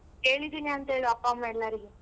ಕೇಳಿದಿನಿ ಅಂತ್ ಹೇಳು ಅಪ್ಪ ಅಮ್ಮ ಎಲ್ಲರಿಗೂ.